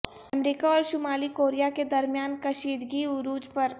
امریکا اورشمالی کوریا کے درمیان کشید گی عروج پر